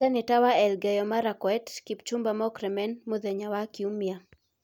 Seneta wa Elgeyo-Marakwet, Kipchumba Murkomen, mũthenya wa Kiumia,